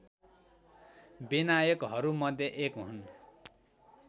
विनायकहरूमध्ये एक हुन्